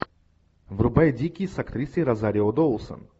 врубай дикий с актрисой розарио доусон